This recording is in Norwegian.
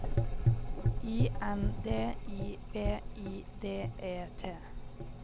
I N D I V I D E T